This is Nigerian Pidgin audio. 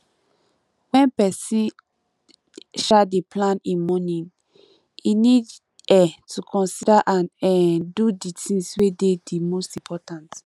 when person um dey plan im morning e need um to consider and um do di things wey dey di most important